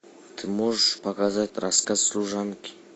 ты можешь показать рассказ служанки